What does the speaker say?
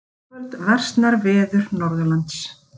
Síðar í kvöld versnar veður Norðanlands